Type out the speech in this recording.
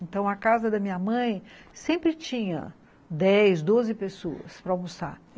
Então, a casa da minha mãe sempre tinha dez, doze pessoas para almoçar.